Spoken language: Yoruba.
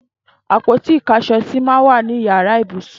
Àpóti ìkáṣọsì mà n wà ninú iyàrá ibúsún